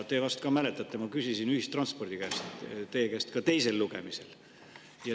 Te vist ka mäletate, et ma küsisin ühistranspordi kohta teie käest ka teisel lugemisel.